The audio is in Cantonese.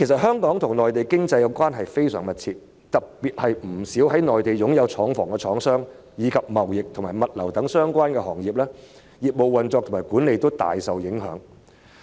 香港與內地的經濟關係非常密切，特別是不少在內地擁有廠房的廠商，以及貿易和物流等相關行業，其業務運作和管理均大受影響。